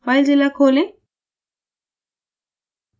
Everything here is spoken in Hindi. filezilla खोलें